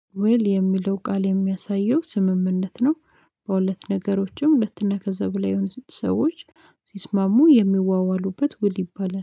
ውል የሚለው ቃል የሚያሳየው ስምምነት ነው። በሁለት ነገሮችም ሁለትና ከዛ በላይ የሆኑ ሰዎች ሲስማሙ የሚዋዋሉበት ውል ይባላል።